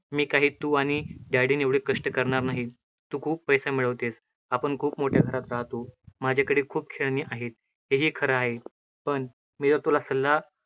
मी काही तु आणि dad एवढे कष्ट करणार नाही, तु खूप पैसा मिळवतेस, आपण खूप मोठ्या घरात राहतो. माझ्याकडे खूप खेळणी आहेत, हे ही खरं आहे, पण मी जर तुझा सल्ला